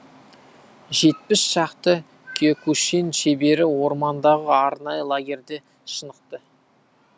жетпіс шақты киокушин шебері ормандағы арнайы лагерьде шынықты